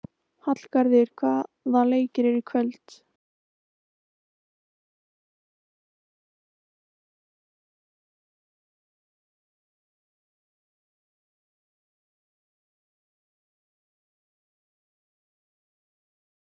Þið voruð saman, var það ekki?